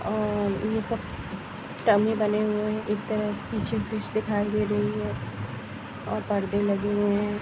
और वः सब डमी बने हुए है एक तरफ पीछे फिश दिखाई दे रही है। और परदे लगे हुए है |